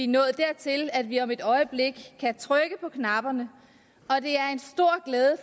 nået dertil at vi om et øjeblik kan trykke på knapperne